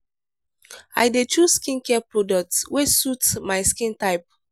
i dey choose skincare products wey suit my skin type.